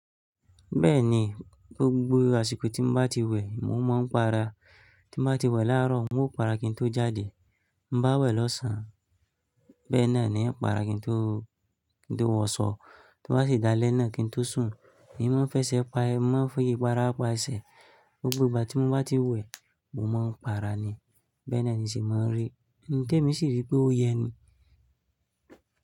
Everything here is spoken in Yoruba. Bẹ́ẹ̀ni, gbogbo àsìkò tí mo bá ti wẹ̀, mo máa ń para. Tí mo bá ti wẹ̀ láàárọ̀, mo para kí n tó jáde. Mo bá wẹ̀ lọ́sàn bẹ́ẹ̀ náà ni ń para kí n tó --kí n tó wọṣọ. To bá sì dálẹ̀ náà kí n tó sùn ni mo fẹsẹ̀ parí. Mo man fi ipara pà ese Gbogbo ìgbà tí mo bá ti wẹ̀, mo máa ń para ni. Bẹ́ẹ̀ náà ni o se máa ń rí i. Ǹ ti èmi sì rí pé ó yẹ ni?